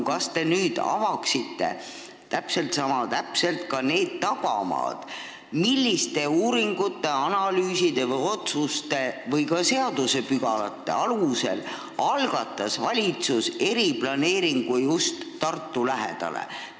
Kas te nüüd avaksite sama täpselt ka need tagamaad, milliste uuringute, analüüside, otsuste või ka seaduspügalate alusel algatas valitsus eriplaneeringu, pidades silmas just Tartu lähikonda?